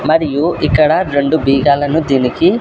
మరియు ఇక్కడ రెండు బీగాలను దీనికి--